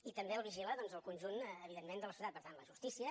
i també el vigila doncs el conjunt evidentment de la societat per tant la justícia